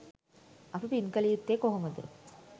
අපි පින් කළ යුත්තේ කොහොමද